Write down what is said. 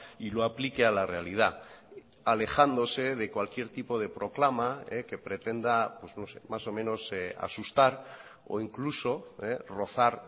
y lo aplique a la realidad alejándose de cualquier tipo de proclama que pretenda más o menos asustar o incluso rozar